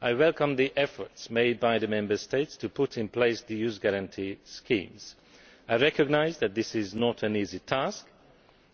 I welcome the efforts made by the Member States to put in place the Youth Guarantee schemes. I recognise that this is not an easy task,